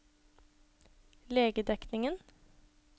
legedekningen